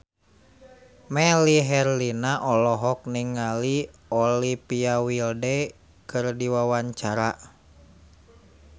Melly Herlina olohok ningali Olivia Wilde keur diwawancara